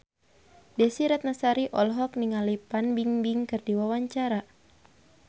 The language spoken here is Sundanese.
Desy Ratnasari olohok ningali Fan Bingbing keur diwawancara